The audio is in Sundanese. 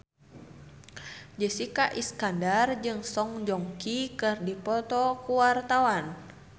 Jessica Iskandar jeung Song Joong Ki keur dipoto ku wartawan